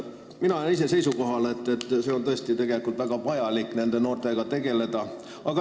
Mina olen küll seisukohal, et nende noortega on tõesti väga vaja tegeleda.